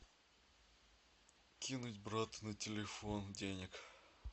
кинуть брату на телефон денег